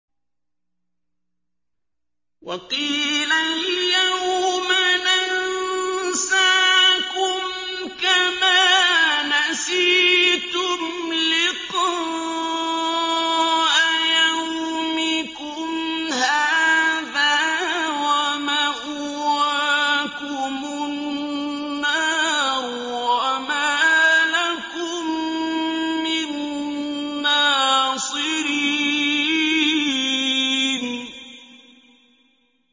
وَقِيلَ الْيَوْمَ نَنسَاكُمْ كَمَا نَسِيتُمْ لِقَاءَ يَوْمِكُمْ هَٰذَا وَمَأْوَاكُمُ النَّارُ وَمَا لَكُم مِّن نَّاصِرِينَ